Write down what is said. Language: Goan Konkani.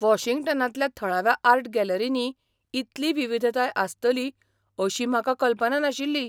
वॉशिंग्टनांतल्या थळाव्या आर्ट गॅलरींनी इतली विविधताय आसतली अशी म्हाका कल्पना नाशिल्ली.